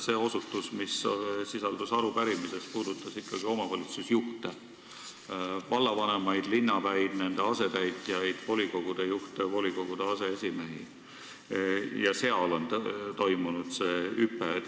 See osutus, mis sisaldus arupärimises, puudutas ikkagi omavalitsusjuhte ehk vallavanemaid, linnapäid, nende asetäitjaid, volikogude juhte ja aseesimehi – seal on toimunud see hüpe.